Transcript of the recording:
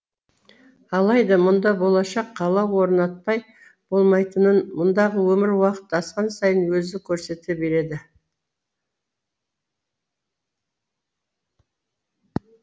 алайда мұнда болашақ қала орнатпай болмайтынын мұндағы өмір уақыт асқан сайын өзі көрсете береді